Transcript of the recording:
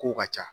Kow ka ca